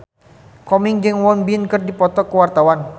Komeng jeung Won Bin keur dipoto ku wartawan